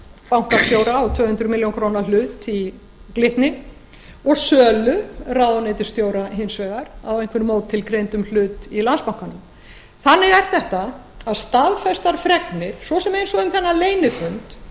bankastjóra á tvö hundruð milljóna króna hlut í glitni og sölu ráðuneytisstjóra hins vegar á einhverjum ótilgreindum hlut í landsbankanum þannig er þetta að staðfestar fregnir svo sem eins og um þennan leynifund